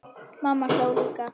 Mamma hló líka.